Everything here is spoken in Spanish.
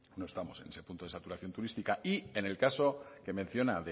no estamos en ese punto de saturación turística en el caso que menciona